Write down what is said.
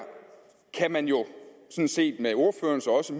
kan man jo set med ordførerens og også